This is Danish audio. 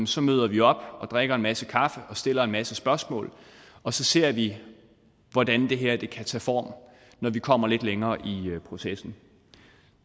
så møder vi op og drikker en masse kaffe og stiller en masse spørgsmål og så ser vi hvordan det her kan tage form når vi kommer lidt længere i processen